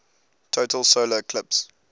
total solar eclipse